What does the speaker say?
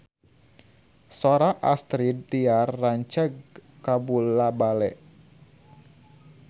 Sora Astrid Tiar rancage kabula-bale